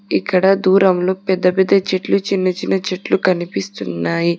ఇక్కడ దూరంలో పెద్ద పెద్ద చెట్లు చిన్న చిన్న చెట్లు కనిపిస్తున్నాయి.